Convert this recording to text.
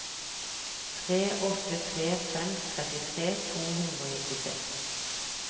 tre åtte tre fem trettitre to hundre og nittiseks